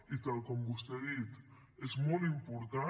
i tal com vostè ha dit és molt important